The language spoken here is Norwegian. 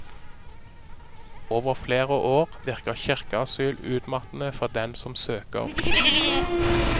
Over flere år virker kirkeasyl utmattende for dem som søker beskyttelse.